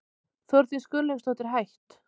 Þórdís Gunnlaugsdóttir, hætt